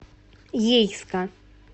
ейска